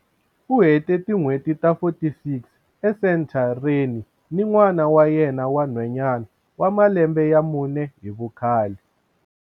U hete tin'hweti ta 46 esentha reni ni n'wana wa yena wa nhwanyana wa malembe ya mune hi vukhale.